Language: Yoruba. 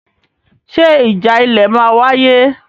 Ṣe ìjà ilẹ̀ máa wáyé?